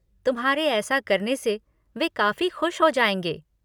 तुम्हारे ऐसा करने से वे काफ़ी खुश हो जाएँगे।